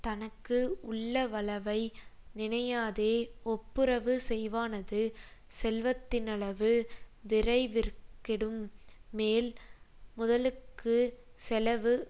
தனக்கு உள்ளவளவை நினையாதே ஒப்புரவு செய்வானது செல்வத்தினளவு விரைவிற்கெடும் மேல் முதலுக்குச் செலவு